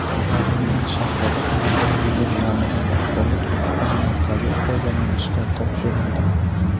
Namangan shahrida Nodirabegim nomidagi axborot-kutubxona markazi foydalanishga topshirildi.